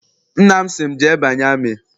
Nna m sị m, jee banye amị!